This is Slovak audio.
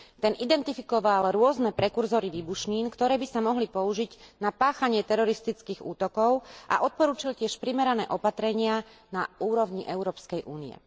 Ten identifikoval rôzne prekurzory výbušnín, ktoré by sa mohli použiť na páchanie teroristických útokov, a odporučil tiež primerané opatrenia na úrovni Európskej únie.